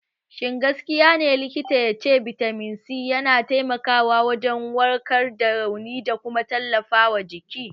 Shin gaskiya ne likita ya ce bitamin C yana taimakawa wajen warkar da rauni da kuma tallafawa jiki?